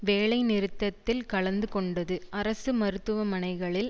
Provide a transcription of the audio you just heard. வேலை நிறுத்தத்தில் கலந்து கொண்டது அரசு மருத்துவமனைகளில்